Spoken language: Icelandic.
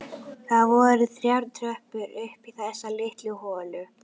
Það voru þrjár tröppur upp í þessa litlu holu.